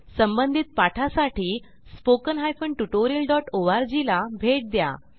संबंधित पाठा साठी स्पोकन हायफेन tutorialओआरजी ला भेट द्या